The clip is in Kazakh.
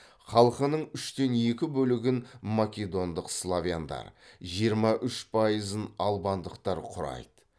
халқының үштен екі бөлігін македондық славяндар жиырма үш пайызын албандықтар құрайды